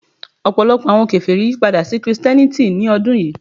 Ọpọlọpọ awọn keferi yipada si Kristiẹniti ni ọdun yii